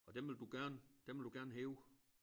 Og dem vil du gerne dem vil du gerne hæve